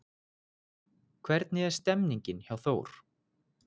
Hvernig er stemningin hjá Þór?